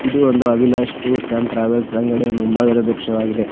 ಇದು ಒಂದು Abhilash tours and travels ಅಂಗಡಿಯ ಮುಂಭಾಗದ ದೃಶ್ಯವಾಗಿದೆ.